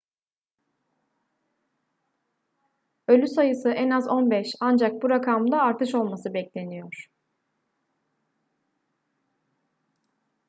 ölü sayısı en az 15 ancak bu rakamda artış olması bekleniyor